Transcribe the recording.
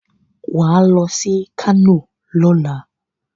Wà ló sí kano lọ́la.